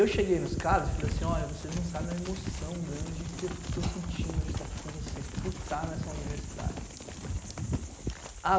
Eu cheguei nos caras e falei assim, olha, vocês não sabem a emoção grande que eu estou sentindo de estar aqui com vocês por estar nessa universidade.